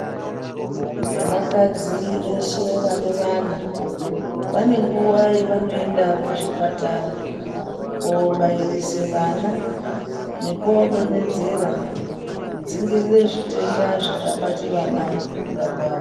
Vanakadzi veshe vane vana vane nguwa yevanoende kuzvipatara kobairise vana nekodonhedzera kudzingirire zvitenda zvingabate vana mukukurakwavo.